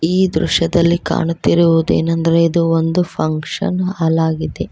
ಈ ದೃಶ್ಯದಲ್ಲಿ ಕಾಣುತ್ತಿರುವುದೇನೆಂದರೆ ಇದು ಒಂದು ಫಂಕ್ಷನ್ ಹಾಲ್ ಆಗಿದೆ.